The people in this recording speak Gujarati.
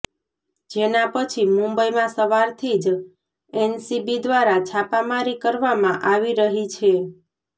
જેના પછી મુંબઈમાં સવારથી જ એનસીબી દ્વારા છાપામારી કરવામાં આવી રહી છે